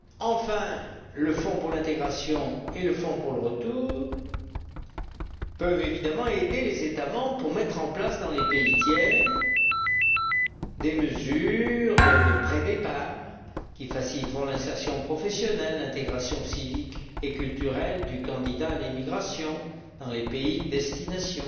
Enfin le fonds pour l'intégration et le fonds pour le retour peuvent évidemment aider les États membres à mettre en place dans les pays tiers des mesures de pré départ qui faciliteront l'insertion professionnelle, l'intégration civique et culturelle du candidat à l'émigration dans les pays de destination,